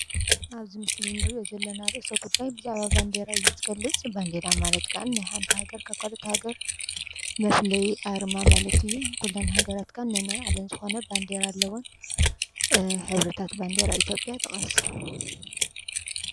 ኣብዚ ርእሲ እንሪኦ ዘለና ርአሰ ጉዳይ ብዛዕባ ባንዴራ እዩ ዝገልፅ ባንዴራ ማለት ክዓ ሓንቲ ሃገር ካብ ካሊእ ሃገር መፍለዪ ኣርማ ማለት እዩ፡፡ ኩለን ሃገራት ነናይ ባዕለን ዝኮነ ባንዴራ ኣለወን፡፡ ሕብርታት ባንዴራ አትዮጵያ ጥቀስ?